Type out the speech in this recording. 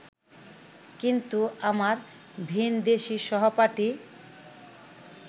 কিন্তু আমার ভিনদেশী সহপাঠী